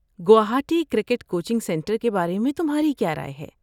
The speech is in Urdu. گوہاٹی کرکٹ کوچنگ سنٹر کے بارے میں تمہاری کیا رائے ہے؟